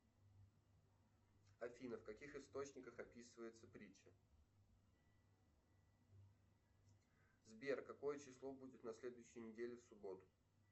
афина в каких источниках описывается притча сбер какое число будет на следующей неделе в субботу